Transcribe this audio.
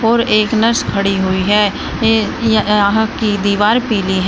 और एक नर्स खड़ी हुई हैं ये य यहां की दीवार पीली है।